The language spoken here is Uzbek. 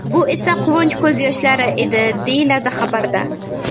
Bu esa quvonch ko‘z yoshlari edi”, deyiladi xabarda.